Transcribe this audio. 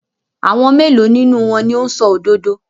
Àwọn mélòó nínú wọn ni ó ń sọ òdodo?